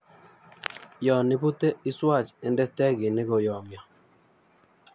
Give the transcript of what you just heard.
Yon ibute iswach inde stekinik koyomyo.